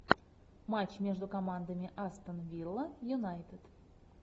матч между командами астон вилла юнайтед